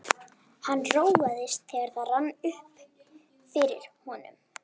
Hann róaðist, þegar það rann upp fyrir honum.